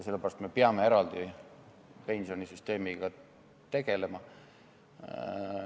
Sellepärast peame me pensionisüsteemiga eraldi tegelema.